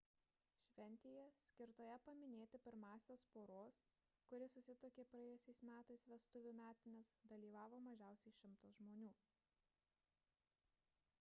šventėje skirtoje paminėti pirmąsias poros kuri susituokė praėjusiais metais vestuvių metines dalyvavo mažiausiai 100 žmonių